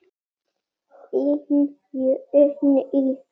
Þín Jenný.